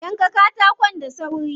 Yanka katakon da sauri.